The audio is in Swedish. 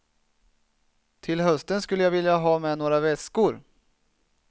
Till hösten skulle jag vilja ha med några väskor.